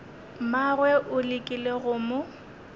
mmagwe o lekile go mo